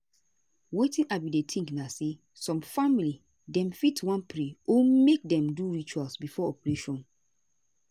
wetin i bin dey think na say some family dem fit wan pray or make dem do ritual before operation.